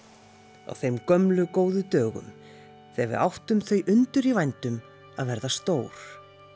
á þeim gömlu góðu dögum þegar við áttum þau undur í vændum að verða stór